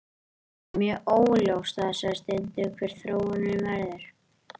Þetta er mjög óljóst á þessari stundu hver þróunin verður.